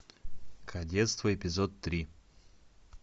кадетство эпизод три